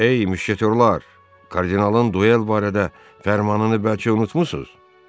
Ey müşketorlar, kardinalın duel barədə fərmanını bəlkə unutmursuz?